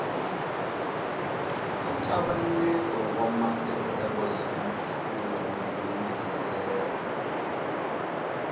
nkavanyeto wa matirhelo ya mpfumelelo